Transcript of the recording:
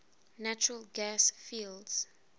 natural gas fields